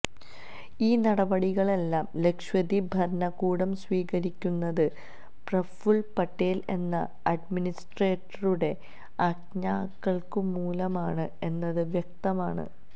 ഈ നടപടികളെല്ലാം ലക്ഷദ്വീപ് ഭരണകൂടം സ്വീകരിക്കുന്നത് പ്രഫുല് പട്ടേല് എന്ന അഡ്മിനിസ്ട്രേറ്ററുടെ ആജ്ഞകള്മൂലമാണ് എന്നത് വ്യക്തമാണ്